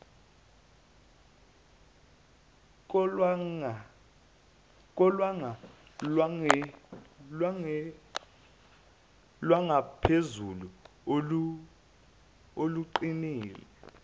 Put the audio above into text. kolwanga lwangaphezulu oluqinile